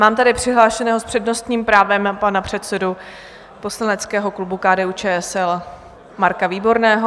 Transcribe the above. Mám tady přihlášeného s přednostním právem panA předsedu poslaneckého klubu KDU-ČSL Marka Výborného.